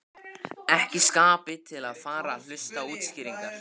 Ekki í skapi til að fara að hlusta á útskýringar.